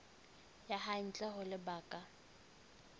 ya hae ntle ho lebaka